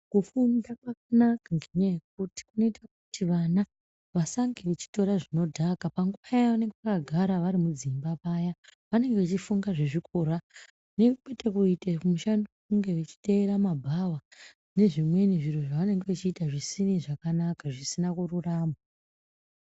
Kufunda kwakanaka kunoita kuti vana vasatora zvinodhaka pavanenge vari mudzimba paya. Vanenge veifunga zvezvikora kwete kuita mushando wekuteera mumbabhawa nezvimweni zviro zvavamenge vachii ita zvisina kururama .